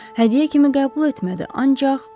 Hədiyyə kimi qəbul etmədi, ancaq borc kimi.